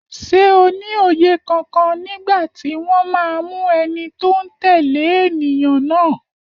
Ṣé o ní òye kankan nígbà tí wọ́n máa mú ẹni tó ń tẹ̀lé ènìyàn náà?